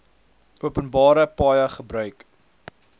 openbare paaie gebruik